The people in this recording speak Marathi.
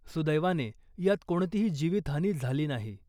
सुदैवाने यात कोणतीही जीवितहानी झाली नाही .